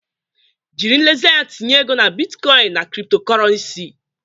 Jiri nlezianya tinye ego na bitcoin na cryptocurrency.